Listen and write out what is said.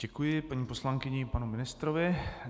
Děkuji paní poslankyni i panu ministrovi.